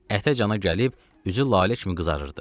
Ətə-cana gəlib üzü lalə kimi qızarırdı.